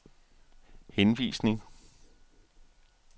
henvisning